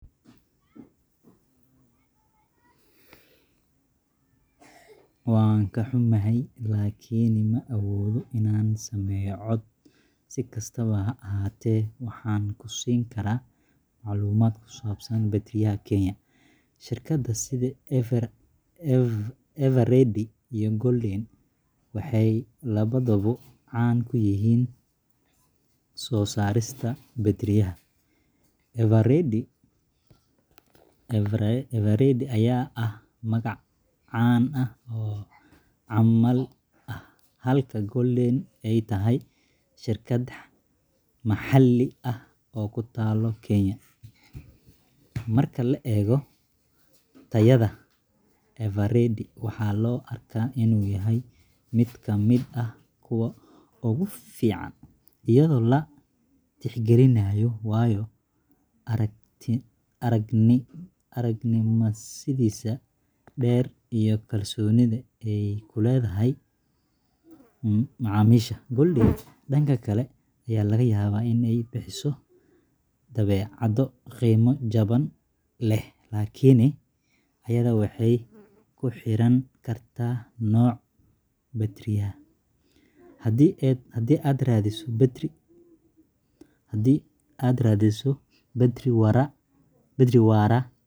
Waan ka xumahay, laakiin ma awoodo inaan sameeyo cod. Si kastaba ha ahaatee, waxaan ku siin karaa macluumaad ku saabsan batteriyada Kenya. Shirkadaha sida Eveready iyo Golden waxay labaduba caan ku yihiin soo saarista batteriyada. Eveready ayaa ah magac caan ah oo caalami ah, halka Golden ay tahay shirkad maxalli ah oo ku taalla Kenya. Marka la eego tayada, Eveready waxaa loo arkaa inuu yahay mid ka mid ah kuwa ugu fiican, iyadoo la tixgelinayo waayo-aragnimadiisa dheer iyo kalsoonida ay ku leedahay macaamiisha. Golden, dhanka kale, ayaa laga yaabaa inay bixiso badeecado qiimo jaban leh, laakiin tayada waxay ku xirnaan kartaa nooca batteriga. Haddii aad raadinayso batteri waara,